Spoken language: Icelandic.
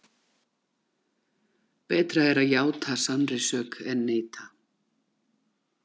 Betra er að játa sannri sök en neita.